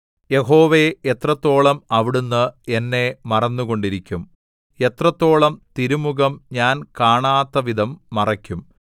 യഹോവേ എത്രത്തോളം അവിടുന്ന് എന്നെ മറന്നുകൊണ്ടിരിക്കും എത്രത്തോളം തിരുമുഖം ഞാൻ കാണാത്തവിധം മറയ്ക്കും